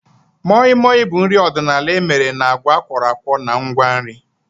Moi Moi bụ nri ọdịnala emere na agwa akworakwo na ngwa nri